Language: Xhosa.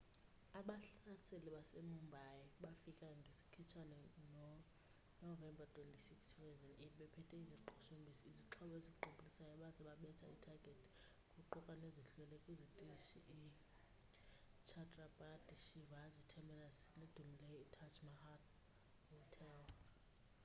abahlaseli base mumbai bafika ngesikhitshane no novemba 26,2008 bephethe iziqhushumbisi izixhobo eziqubulisayo baze babetha ithagethi kuquka nezihlwele kwisitrishi i chhatrapati shivaji terminus nedumileyo i taj mahal hotel